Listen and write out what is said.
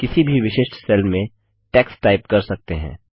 आप किसी भी विशिष्ट सेल में टेक्स्ट टाइप कर सकते हैं